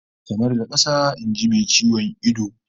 Kamar da kasa, in ji mai ciwon ido